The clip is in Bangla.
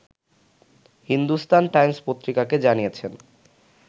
হিন্দুস্তান টাইমস পত্রিকাকে জানিয়েছেন